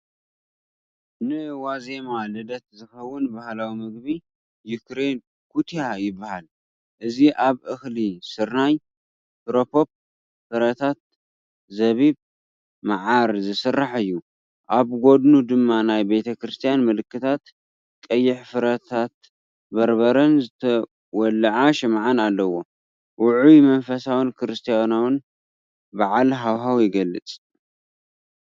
ንዋዜማ ልደት ዝኸውን ባህላዊ ምግቢ ዩክሬን "ኩትያ" ይበሃል። እዚ ካብ እኽሊ ስርናይ፡ ፍረ ፖፕ፡ ፍረታት፡ ዘቢብ፡ መዓር ዝስራሕ እዩ። ኣብ ጎድኑ ድማ ናይ ቤተክርስትያን ምልክታት፣ ቀይሕ ፍረታት በርበረን ዝተወልዐ ሽምዓን ኣለዎ። ውዑይን መንፈሳውን ክርስትያናዊ በዓል ሃዋህው ይገልፅ፡፡